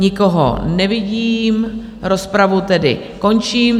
Nikoho nevidím, rozpravu tedy končím.